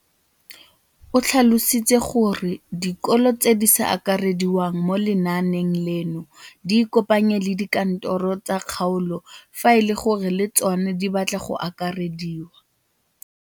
O tlhalositse gore dikolo tse di sa akarediwang mo lenaaneng leno di ikopanye le dikantoro tsa kgaolo fa e le gore le tsona di batla go akarediwa.